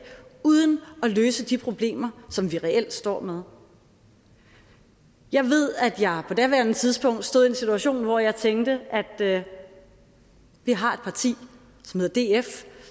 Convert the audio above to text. uden at løse de problemer som vi reelt står med jeg ved at jeg på daværende tidspunkt stod i en situation hvor jeg tænkte at vi har et parti som hedder df